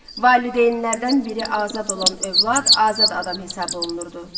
Valideynlərdən biri azad olan övlad azad adam hesab olunurdu.